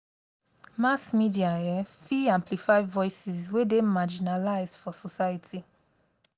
mass media um fit amplify voices wey dey marginalized for society.